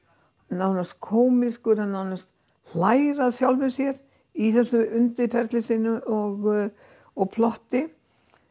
nánast kómískur hann nánast hlær að sjálfum sér í þessu undirferli sínu og og plotti